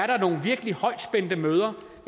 der nogle virkelig højspændte møder